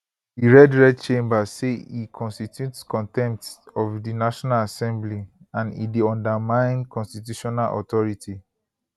di red red chamber say e constitute contempt of di national assembly and e dey undermine constitutional authority